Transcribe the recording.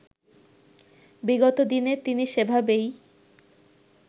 বিগত দিনে তিনি সেভাবেই